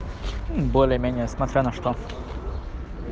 более-менее смотря на что